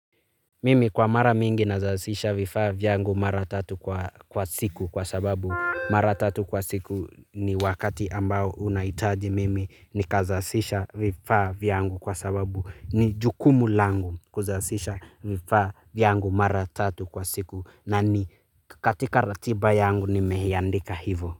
Mimi kwa mara mingi nazasisha vifaa vyangu mara tatu kwa siku kwa sababu mara tatu kwa siku ni wakati ambao unahitaji mimi ni kazasisha vifaa vyangu kwa sababu ni jukumu langu kuzasisha vifaa vyangu mara tatu kwa siku na ni katika ratiba yangu nimeiandika hivo.